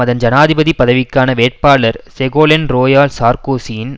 அதன் ஜனாதிபதி பதவிக்கான வேட்பாளர் செகோலென் ரோயால் சார்க்கோசியின்